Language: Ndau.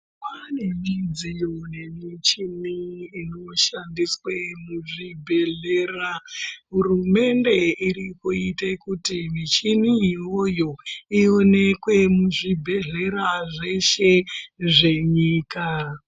Pane midziyo nemichini inoshandiswe muzvibhedhlera. Hurumende iri kuite kuti michini iyoyo iwonekwe muzvibhedhlera zveshe zvenyika.